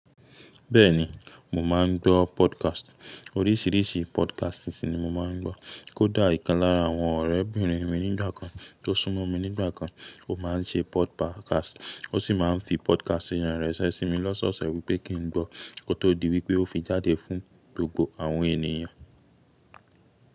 Bẹ́ẹ̀ni, mò máa ń gbọ́ podcast. Oríṣìíríṣìí podcast season ni mo máa ń gbọ́. Kódà ìkan lára àwọn ọ̀rẹ́bìnrin mi nígbà kan tó súnmọ́ mi nígbà kan, ó máa ń ṣe podcast, ó sì máa ń fi podcast yẹn rẹ́sẹ́ sí mi lọ́sọ̀ọ̀sẹ̀ wípé kín ń gbọ́ kó tó di wípé ó fi jáde fún gbogbo àwọn ènìyàn.